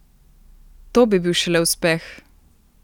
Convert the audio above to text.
To bi bil šele uspeh!